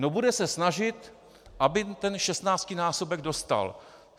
No bude se snažit, aby ten 16násobek dostal.